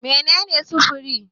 Mene ne sufuri?